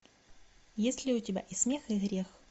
есть ли у тебя и смех и грех